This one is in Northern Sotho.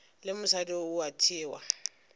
le mosadi o a thewa